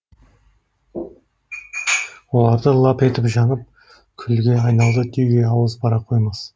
оларды лап етіп жанып күлге айналды деуге ауыз бара қоймас